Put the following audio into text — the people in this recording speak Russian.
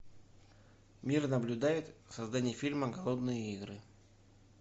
мир наблюдает создание фильма голодные игры